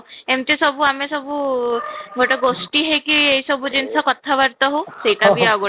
ଏମିତି ସବୁ ଆମେ ସବୁ ଗୋଟେ ଗୋଷ୍ଟି ହେଇକି ଏଇ ସବୁ ଜିନିଷ କଥା ବାର୍ତ୍ତା ହଉ ସେଟା ବି ଆଉ ଗୋଟେ